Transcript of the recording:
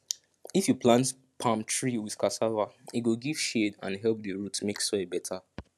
if you plant palm tree with cassava e go give shade and help the root make soil better